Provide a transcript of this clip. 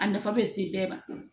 A nafa bɛ se bɛɛ ma